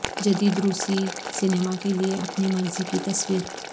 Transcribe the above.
جدید روسی سینما کے لئے اپنی مرضی کی تصویر